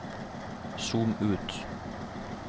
zoom ut